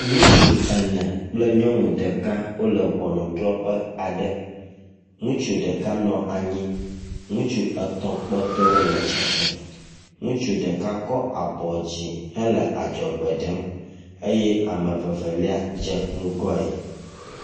Ŋutsu ene kple nyɔnu ɖeka wole ʋɔnuɖrɔƒe aɖe, ŋutsu ɖeka nɔ anyi ŋutsu etɔ̃ kpɔtɔɛwo le tsitre. Ŋutsu ɖeka kɔ abɔ dzi hele adzɔgbe ɖem eye ame evelia dze ŋgɔɛ.